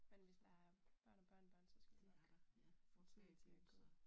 Men hvis der er børn og børnebørn så skal du nok få tiden til at gå